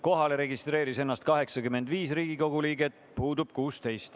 Kohale registreeris 85 Riigikogu liiget, puudub 16.